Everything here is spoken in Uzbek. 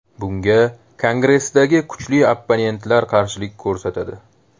Bunga Kongressdagi kuchli opponentlar qarshilik ko‘rsatadi.